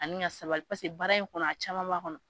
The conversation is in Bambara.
Ani ka sabali paseke baara in kɔnɔ a caman b'a kɔnɔ.